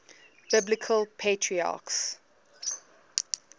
biblical patriarchs